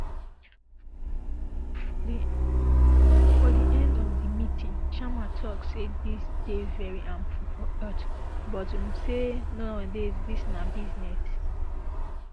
um for di end of di meeting sharma tok say dis dey very harmful for health but um say nowadays dis na business